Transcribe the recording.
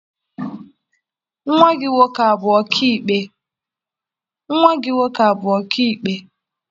Nwa gị nwoke abụ ọkaikpe?